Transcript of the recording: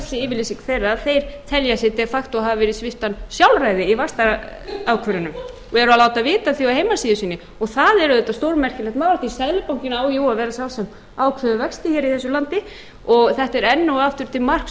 yfirlýsing þeirra að þeir telja sig de facto hafa verið svipta sjálfræði í vaxtaákvörðunum og eru að láta vita af því á heimasíðu sinni og það er auðvitað stórmerkilegt mál því seðlabankinn á jú að vera sá sem ákveður vexti hér í þessu landi þetta er enn og aftur til marks